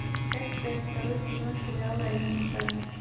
часть пять второй сезон сериала элементарно